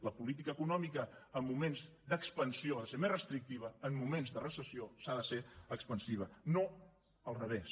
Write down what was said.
la política econòmica en moments d’expansió ha de ser més restrictiva en moments de recessió ha de ser expansiva no al revés